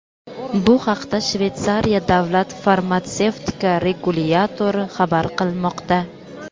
Bu haqda Shveysariya davlat farmatsevtika regulyatori xabar qilmoqda.